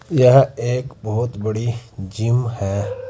यह एक बहुत बड़ी जिम है।